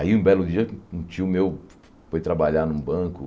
Aí, um belo dia, um tio meu foi trabalhar num banco.